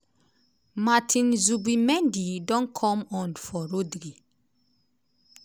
martin zubimendi don come on for rodri.